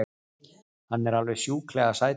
Hann er alveg sjúklega sætur!